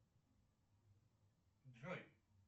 джой